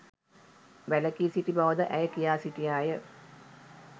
වැලකී සිටි බවද ඇය කියා සිටියාය